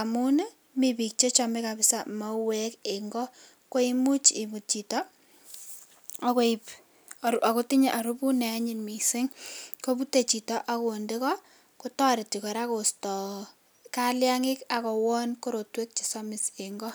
amun mi bik Chechome kabisa mauwek en go koimuch ibut Chito akotinye arubut neanyun mising kobute Chito akinde go kotareti kora kosto kalingik akowon korotwek chesomis en go.